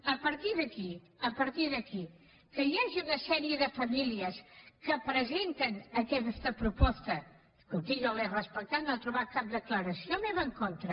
a partir d’aquí a partir d’aquí que hi hagi una sèrie de famílies que presenten aquesta proposta escolti jo l’he respectat no ha trobat cap declaració meva en contra